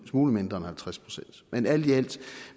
smule mindre end halvtreds procent men alt i alt